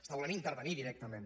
està volent intervenir directament